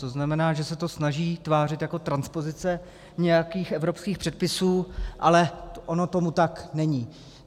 To znamená, že se to snaží tvářit jako transpozice nějakých evropských předpisů, ale ono tomu tak není.